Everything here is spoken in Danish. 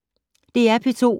DR P2